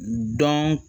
Dɔn